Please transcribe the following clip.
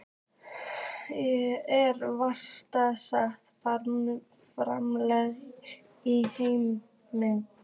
Er vatninu skvett framan í mann.